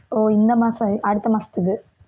ஓ இந்த மாசம், அடுத்த மாசத்துக்கு